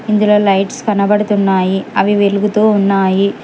ఇందులో లైట్స్ కనబడుతున్నాయి అవి వెలుగుతో ఉన్నాయి.